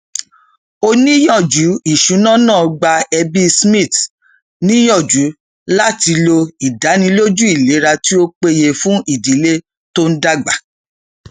oníyànjú ìṣúná náà gba ẹbí smith níyànjú láti lo ìdánilójú ìlera tí ó péye fún ìdílé tí ń dàgbà